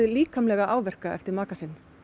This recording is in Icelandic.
líkamlega áverka eftir makann